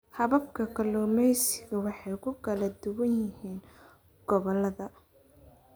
Hababka kalluumaysigu way ku kala duwan yihiin gobollada.